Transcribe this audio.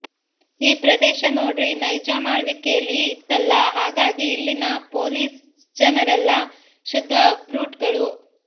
ಈ ಪ್ರದೇಶ ನೋಡ್ರಿ ನೈಜಾಮ್ಆಳ್ವಿಕೇಲಿ ಇತ್ತಲ್ಲ ಹಾಗಾಗಿ ಇಲ್ಲಿನ ಪೋಲೀಸ್ಜನರೆಲ್ಲ ಶುದ್ಧ ಬ್ರೂಟ್ಗಳು